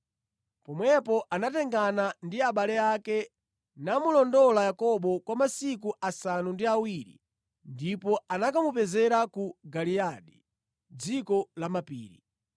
Pomwepo anatengana ndi abale ake namulondola Yakobo kwa masiku asanu ndi awiri ndipo anakamupezera ku Giliyadi, dziko la mapiri.